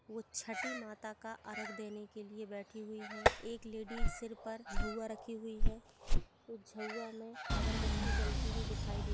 वो छठी माता का अर्घ देने के लिए बैठी हुई है एक लेडिस सिर पर झउवा रखी है उ झउवा मे अगरबत्ती जलती हुई दिखाई दे --